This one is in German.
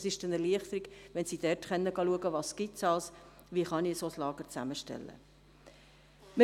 Es ist eine Erleichterung, wenn sie dort nachsehen können, was es gibt, wie man ein solches Lager zusammenstellen kann.